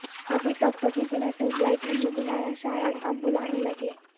ابھی تک تو کسی نے ٹیوب لائٹ نہیں بلایا شاید اب بلانے لگیں